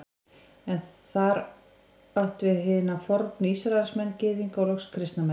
Er þar átt við hina fornu Ísraelsmenn, Gyðinga og loks kristna menn.